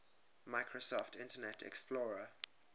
microsoft internet explorer